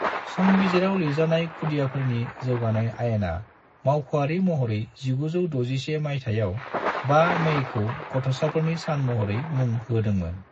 संबिजिराव लिरजानाय खुदियाफोरनि जौगानाय आयेना मावख'आरि महरै 1961 माइथायाव 5 मईखौ गथ'साफोरनि सान महरै मुं होदोंमोन।